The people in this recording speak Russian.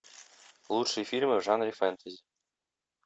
лучшие фильмы в жанре фэнтези